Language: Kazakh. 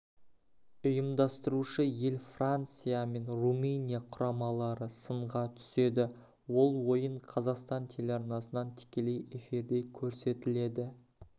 ұйымдастырушы ел франция мен румыния құрамалары сынға түседі ол ойын қазақстан телеарнасынан тікелей эфирде көрсетіледі